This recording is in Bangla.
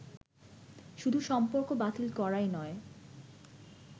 শুধু সম্পর্ক বাতিল করাই নয়